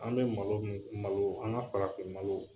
An bɛ malo min malo an ka farafin malo